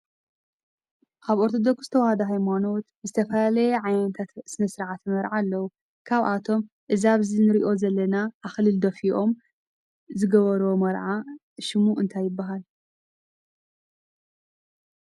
ኣብ ኦርቶዶክስ ተዋህዶ ሃይማኖት ዝተፈላለየ ዓይነታት ስነ-ስርዓት መርዓ ኣለው። ካብኣቶም እዛ ኣብዚ እንሪኦም ዘለና ኣክሊል ደፊፎም ዝገብርዎ መርዓ ሽሙ እንታይ ይበሃል ?